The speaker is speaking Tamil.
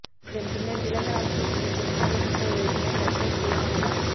இதன் பின்னர் திலகராஜ்கை சந்தித்த நாடாளும்பன்ற உறுப்பினர் டக்ளஸ் தேவானதா